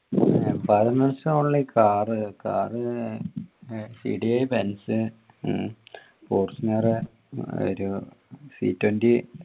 only car Benz, Fortuner, ഒരു